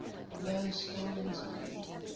low stalling speed